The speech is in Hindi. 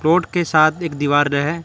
के साथ एक दीवार है।